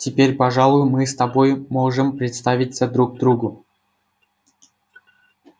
теперь пожалуй мы с тобой можем представиться друг другу